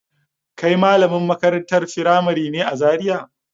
Kai malamin makarantar firamari ne a Zariya?